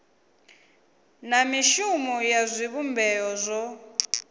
na mishumo ya zwivhumbeo zwo